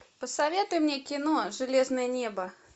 посоветуй мне кино железное небо